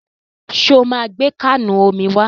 Ṣo máa gbé káànù omi wá?